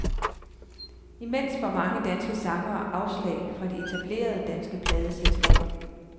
Imens får mange danske sangere afslag fra de etablerede, danske pladeselskaber.